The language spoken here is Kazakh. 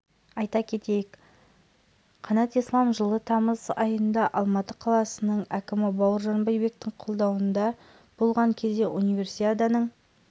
айта кетейік қанат ислам жылы тамыз айында алматы қаласының әкімі бауыржан байбектің қабылдауында болған кезде универсиаданың